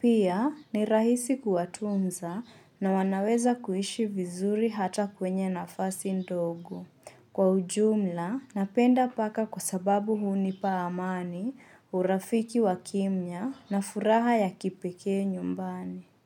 Pia ni rahisi kuwatunza na wanaweza kuishi vizuri hata kwenye nafasi ndogo. Kwa ujumla, napenda paka kwa sababu huni pa amani urafiki wa kimya na furaha ya kipekee nyumbani.